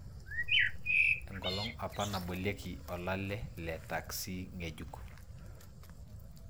Enkolong apa nabolieki olale le taksi ngejuk.